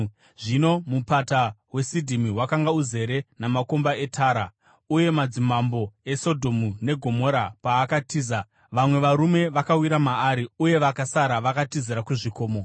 Zvino mupata weSidhimi wakanga uzere namakomba etara, uye madzimambo eSodhomu neGomora paakatiza, vamwe varume vakawira maari uye vakasara vakatizira kuzvikomo.